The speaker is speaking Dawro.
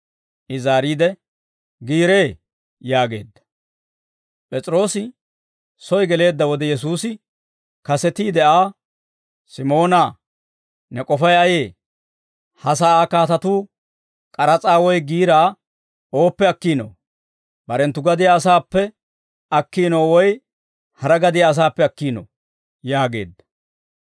I zaariide, «Giiree» yaageedda. P'es'iroosi soy geleedda wode, Yesuusi kasetiide Aa, «Simoonaa, ne k'ofay ayee? Ha sa'aa kaatatuu k'aras'aa woy giiraa ooppe akkiinoo? Barenttu gadiyaa asaappe akkiino woy hara gadiyaa asaappe akkiinoo?» yaageedda.